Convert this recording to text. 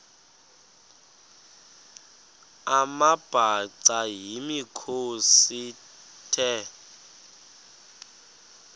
amabhaca yimikhosi the